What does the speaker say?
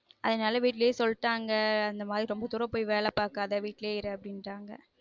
அதுனால வீட்லயே சொல்லிட்டங்க அந்த மாதிரி ரொம்ப தூரம் போய் வேல பார்க்கத வீட்லயே இரு அப்டின்ராங்க